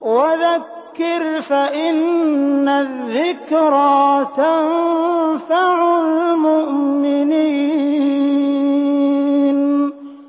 وَذَكِّرْ فَإِنَّ الذِّكْرَىٰ تَنفَعُ الْمُؤْمِنِينَ